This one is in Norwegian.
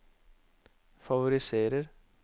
favoriserer